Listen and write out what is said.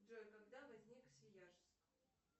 джой когда возник свияжск